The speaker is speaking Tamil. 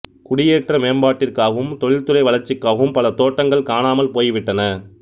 குடியேற்ற மேம்பாட்டிற்காகவும் தொழில்துறை வளர்ச்சிக்காகவும் பல தோட்டங்கள் காணாமல் போய்விட்டன